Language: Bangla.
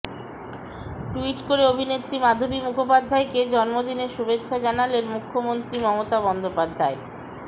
ট্যুইট করে অভিনেত্রী মাধবী মুখোপাধ্যায়কে জন্মদিনের শুভেচ্ছা জানালেন মুখ্যমন্ত্রী মমতা বন্দ্যোপাধ্যায়